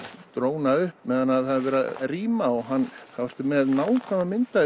dróna upp á meðan er verið að rýma þá ertu með nákvæma mynd af